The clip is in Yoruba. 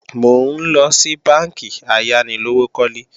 Mò ńlọ sí bánkì ayánilówókọ́lé